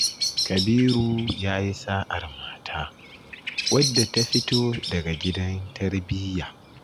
Kabiru ya yi sa'ar mata wadda ta fito daga gidan tarbiyya.